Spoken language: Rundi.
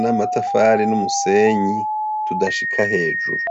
namatafari numusenyi tudashika hejuru.